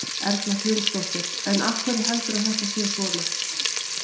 Erla Hlynsdóttir: En af hverju heldurðu að þetta sé svona?